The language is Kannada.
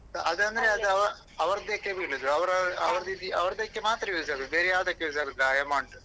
ಅದಂದ್ರೆ ಅದು ಅವ್ರದಕ್ಕೆ ಬೀಳುದು ಅವರ ಅವರ್ ಅವರ್ದಕ್ಕೆ ಮಾತ್ರ use ಆಗೋದು ಬೇರೆ ಯಾವದಕ್ಕೆ use ಆಗೋದಿಲ್ಲ ಆ amount .